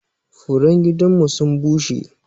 Furen gidan mu sun bushe.